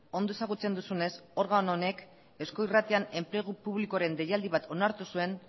ondo ezagutzen duzunez organo honek eusko irratian enplegu publikoaren deialdi bat onartu zuen